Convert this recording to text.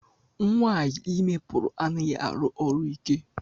Nwaanyị ime pụrụ anaghị arụ ọrụ ike.